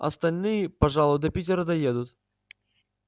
остальные пожалуй до питера доедут